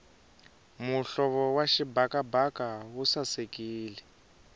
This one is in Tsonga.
muhlovo wa xibakabaka wu sasekile